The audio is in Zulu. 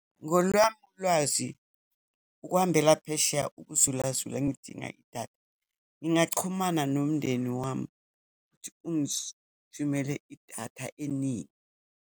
Ngolwami ulwazi, ukuhambela phesheya, ukuzulazula ngidinga idatha, ngingachumana nomndeni wami ukuthi thumele idatha eningi.